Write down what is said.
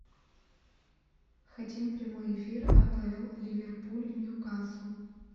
хотим прямой эфир апл ливерпуль ньюкасл